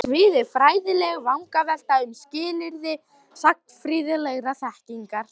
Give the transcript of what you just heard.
Hans svið var fræðileg vangavelta um Skilyrði Sagnfræðilegrar Þekkingar.